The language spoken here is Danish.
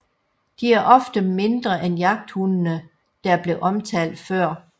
De er ofte mindre end jagthundene der blev omtalt før